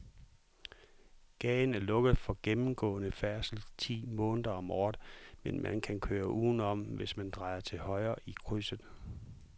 Gaden er lukket for gennemgående færdsel ti måneder om året, men man kan køre udenom, hvis man drejer til højre i krydset.